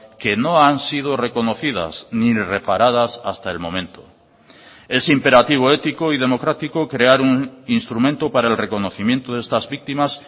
que no han sido reconocidas ni reparadas hasta el momento es imperativo ético y democrático crear un instrumento para el reconocimiento de estas víctimas